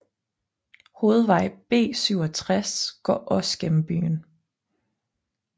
Hovedvej B67 går også gennem byen